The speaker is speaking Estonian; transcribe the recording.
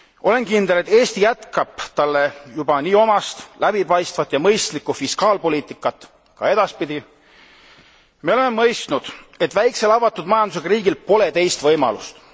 Olen kindel, et Eesti jätkab talle juba nii omast läbipaistvat ja mõistlikku fiskaalpoliitikat ka edaspidi. Me oleme mõistnud, et väiksel avatud majandusega riigil pole teist võimalust.